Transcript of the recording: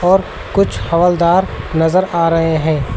और कुछ हवलदार नजर आ रहे हैं।